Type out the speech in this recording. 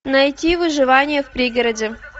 найти выживание в пригороде